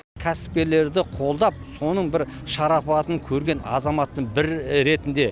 кәсіпкерлерді қолдап соның бір шарапатын көрген азаматттың бірі ретінде